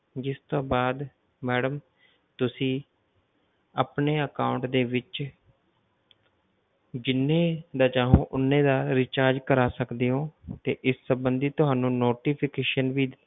ਜਿਸ ਤੋਂ ਬਾਅਦ madam ਤੁਸੀਂ ਆਪਣੇ account ਦੇ ਵਿੱਚ ਜਿੰਨੇ ਦਾ ਚਾਹੋਂ ਉਨੇ ਦਾ recharge ਕਰਵਾ ਸਕਦੇ ਹੋ ਤੇ ਇਸ ਸੰਬੰਧੀ ਤੁਹਾਨੂੰ notification ਵੀ